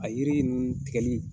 A yiri ninnu tigɛli